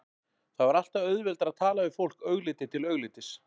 Það var alltaf auðveldara að tala við fólk augliti til auglitis.